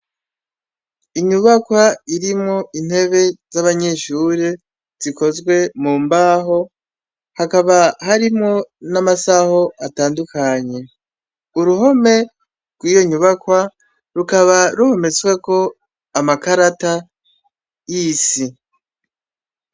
Inyubakwa irimwo intebe z'abanyeshure zikozwe mu mbaho, hakaba harimwo n'amasaho atandukanye. Uruhome rw'iyo nyubakwa rukaba ruhometsweko amakarata y'isi.